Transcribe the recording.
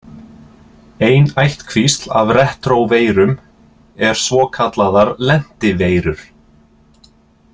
Ein ættkvísl af retróveirum er svokallaðar lentiveirur.